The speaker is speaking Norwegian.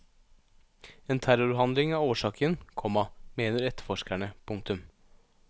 En terrorhandling er årsaken, komma mener etterforskerne. punktum